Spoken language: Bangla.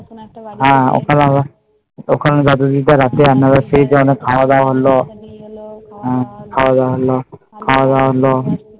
ওখানে দাদু দিদা খাওয়া দাওয়া হলো হম